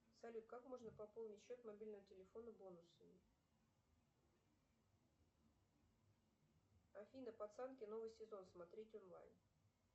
салют как можно пополнить счет мобильного телефона бонусами афина пацанки новый сезон смотреть онлайн